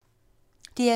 DR2